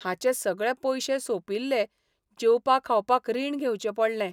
हाचे सगळे पयशे सोंपिल्ले जेवपा खावपाक रीण घेवचें पडलें.